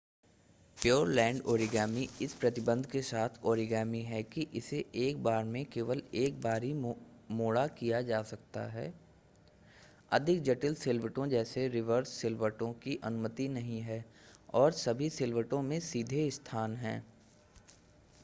Pureland origami इस प्रतिबंध के साथ ओरिगामी है कि इसे एक बार में केवल एक बार ही मोड़ा किया जा सकता है अधिक जटिल सिलवटों जैसे रिवर्स सिलवटों की अनुमति नहीं है और सभी सिलवटों में सीधे स्थान हैं